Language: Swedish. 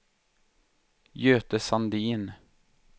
Göte Sandin